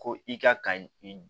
Ko i ka ka i